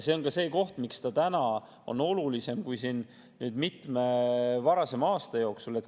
See on ka see, miks see täna on olulisem kui siin mitme varasema aasta jooksul.